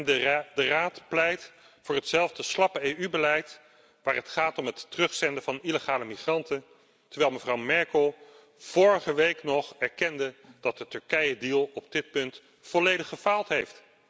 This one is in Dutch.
De Raad pleit voor hetzelfde slappe EU beleid waar het gaat om het terugzenden van illegale migranten, terwijl mevrouw Merkel vorige week nog erkende dat de Turkije deal op dit punt volledig gefaald heeft.